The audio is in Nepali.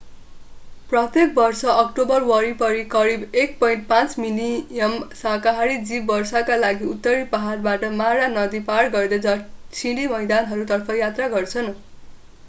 प्रत्येक वर्ष अक्टोबर वरिपरि करिब 1.5 मिलियन साकाहारी जीव वर्षाका लागि उत्तरी पहाडबाट मारा नदी पार गर्दै दक्षिणी मैदानहरूतर्फ यात्रा गर्छन्